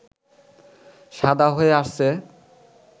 সাদা হয়ে আসছে